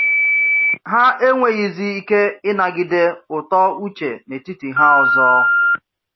Há enweghịzi ike ị̀nagide ùtọ́ Uche n’etiti há ọzọ.